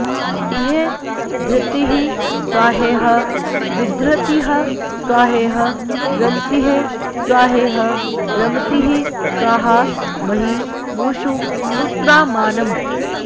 इ॒ह धृतिः॒ स्वाहे॒ह विधृ॑तिः॒ स्वाहे॒ह रन्तिः॒ स्वाहे॒ह रम॑तिः॒ स्वाहा॑ म॒ही मू॒षु सु॒त्रामा॑णम्